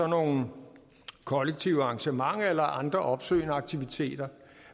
nogle kollektive arrangementer eller andre opsøgende aktiviteter